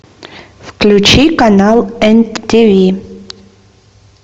включи канал мтв